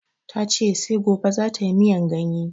Ta ce sai gobe za tayi miyan ganye